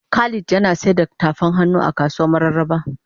Khalid Yana sayar da tafan hannu a kasuwan mararaba.